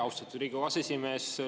Austatud Riigikogu aseesimees!